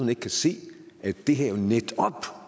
ikke kan se at det her netop